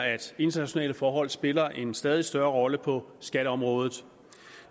at internationale forhold spiller en stadig større rolle på skatteområdet